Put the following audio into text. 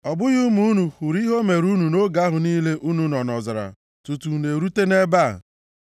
Ọ bụghị ụmụ unu hụrụ ihe o meere unu nʼoge ahụ niile unu nọ nʼọzara tutu unu erute nʼebe a,